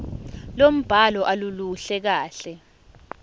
lombhalo aluluhle kahle